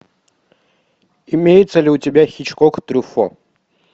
имеется ли у тебя хичкок трюффо